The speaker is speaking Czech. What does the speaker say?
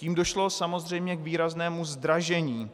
Tím došlo samozřejmě k výraznému zdražení,